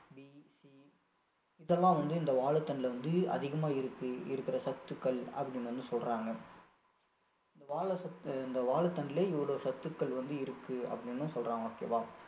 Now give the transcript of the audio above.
இதெல்லாம் வந்து இந்த வாழைத்தண்டுல வந்து அதிகமா இருக்கு இருக்கிற சத்துக்கள் அப்படின்னு வந்து சொல்றாங்க இந்த வாழை சத்~ இந்த வாழைத்தண்டுல இவ்வளவு சத்துக்கள் வந்து இருக்கு அப்படின்னு சொல்றாங்க okay வா